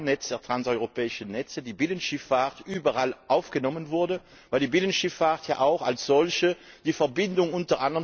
a. im Kernnetz der Transeuropäischen Netze die Binnenschifffahrt überall aufgenommen wurde, weil die Binnenschifffahrt ja auch als solche die Verbindung